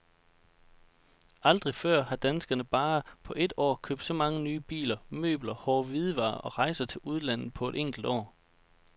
Aldrig før har danskerne på bare et år købt så mange nye biler, møbler, hårde hvidevarer og rejser til udlandet på et enkelt år.